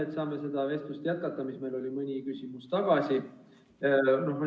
Me saame nüüd jätkata seda vestlust, mida pidasime mõni küsimus tagasi.